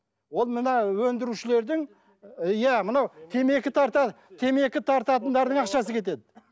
ол мына өндірушілердің иә мынау темекі тарта темекі тартатындардың ақшасы кетеді